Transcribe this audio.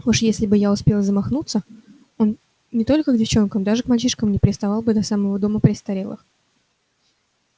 уж если бы я успел замахнуться он не только к девчонкам даже к мальчишкам не приставал бы до самого дома престарелых